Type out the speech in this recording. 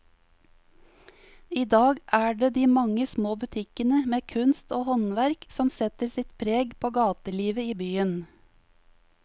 I dag er det de mange små butikkene med kunst og håndverk som setter sitt preg på gatelivet i byen.